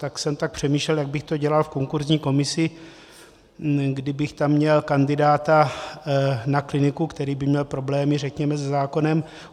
Tak jsem tak přemýšlel, jak bych to dělal v konkurzní komisi, kdybych tam měl kandidáta na kliniku, který by měl problémy, řekněme, se zákonem.